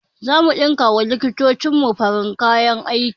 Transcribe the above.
Zamu ɗinka wa likitocin mu farin kayan aiki